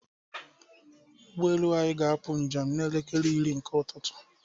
ụgbọelu anyị ga-apụ njem n'elekere iri nke ụtụtụ.